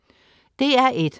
DR1: